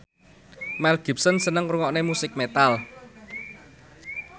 Mel Gibson seneng ngrungokne musik metal